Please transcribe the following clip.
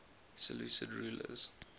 seleucid rulers